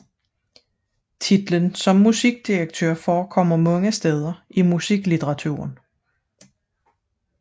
Titlen musikdirektør forekommer mange steder i musiklitteraturen